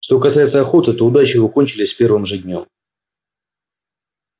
что касается охоты то удачи его кончились с первым же днём